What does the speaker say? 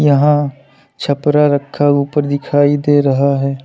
यहाँ छपरा रखा ऊपर दिखाई दे रहा है।